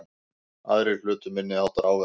Aðrir hlutu minniháttar áverka